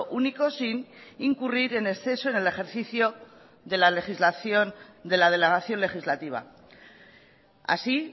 único sin incurrir en exceso en el ejercicio de la legislación de la delegación legislativa así